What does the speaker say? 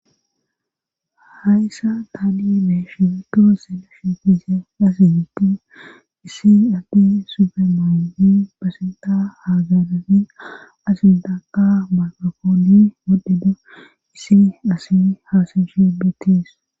hayssa taadi7e mee shefeto sele shifiise asinti issi addi subemaandi pasenta haaganafi asintaka maqakooni modhida issi asin haasinshibettiis